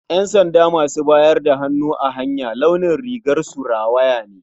Ƴansanda masu bayar da hannu a hanya launin rigarsu rawaya ne.